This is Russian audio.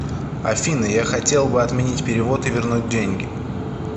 афина я хотел бы отменить перевод и вернуть деньги